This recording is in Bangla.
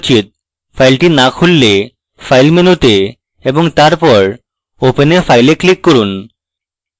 file না খুললে file মেনুতে এবং তারপর open a file a click করুন